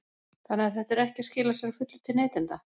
Þannig að þetta er ekki að skila sér að fullu til neytenda?